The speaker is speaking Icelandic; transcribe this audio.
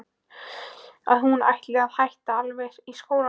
Að hún ætlaði að hætta alveg í skólanum.